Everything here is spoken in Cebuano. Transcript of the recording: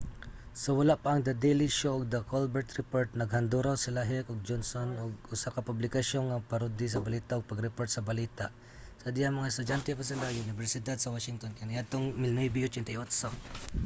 sa wala pa ang the daily show ug the colbert report naghanduraw sila heck ug johnson og usa ka publikasyon nga mo-parody sa balita—ug pag-report sa balita—sa dihang mga estudyante pa sila sa unibersidad sa washington kaniadtong 1988